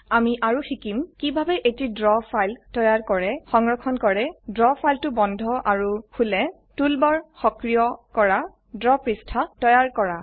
আমি আৰু শিকিম কিভাবে এটি দ্ৰৱ ফাইল তৈয়াৰ কৰে সংৰক্ষণ কৰা দ্ৰ ফাইলটি বন্ধ আৰু খোলা টুলবাৰ সক্ৰিয় কৰা দ্ৰৱ পৃষ্ঠা তৈয়াৰ কৰে